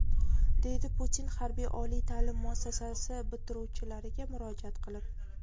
deydi Putin harbiy oliy ta’lim muassasasi bitiruvchilariga murojaat qilib.